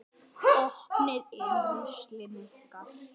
Opið inn!